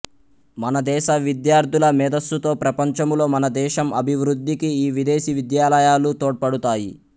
మన దెస విద్యార్థుల మేధస్సుతో ప్రపంచములో మనదేశం అభివృద్ధికి ఈ విదేశీ విద్యాలయాలు తోడ్పడుతాయి